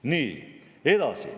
Nii, edasi.